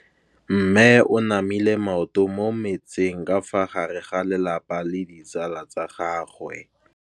Mme o namile maoto mo mmetseng ka fa gare ga lelapa le ditsala tsa gagwe.